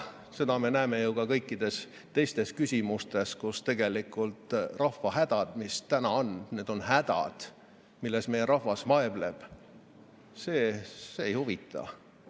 Seda me näeme ju ka kõikides teistes küsimustes, kus tegelikult rahva hädad, mis praegu on, hädad, milles meie rahvas vaevleb, ei huvita.